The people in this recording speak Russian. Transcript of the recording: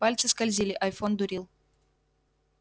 пальцы скользили айфон дурил